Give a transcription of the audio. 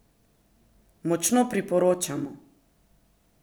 Močno priporočamo!